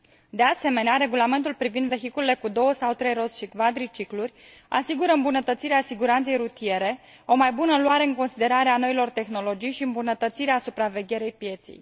De asemenea, Regulamentul privind vehiculele cu două sau trei roți și cvadriciclurile asigură îmbunătățirea siguranței rutiere, o mai bună luare în considerare a noilor tehnologii și îmbunătățirea supravegherii pieței.